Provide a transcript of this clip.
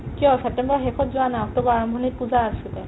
কিয় ছেপ্তেম্বৰৰ শেষত যোৱা নাই অক্টোবৰ আৰম্ভণিত পূজা আছিলে